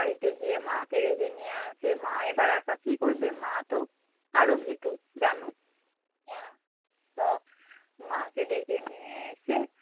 বাড়ীতে গিয়ে মা কে ডেকে নিয়ে আসে মা এবার একা কী করবে? মা তো আরো ভীতু জানো মাকে ডেকে নিয়ে এসে